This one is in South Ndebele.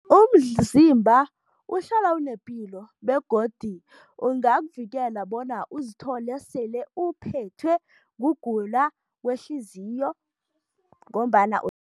Umzimba uhlala unepilo begodu ungakuvikela bona uzithole sele uphethwe kugula kwehliziyo ngombana